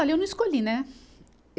Olha, eu não escolhi, né?